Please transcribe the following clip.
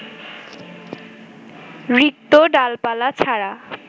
রিক্ত ডালপালা ছাড়া